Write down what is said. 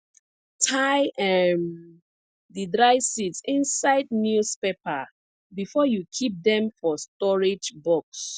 tie um the dry seeds inside newspaper before you keep dem for storage box